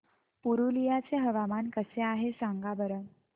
पुरुलिया चे हवामान कसे आहे सांगा बरं